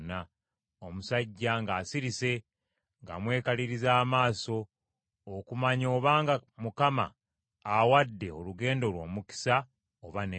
omusajja ng’asirise ng’amwekaliriza amaaso okumanya obanga Mukama awadde olugendo lwe omukisa oba nedda.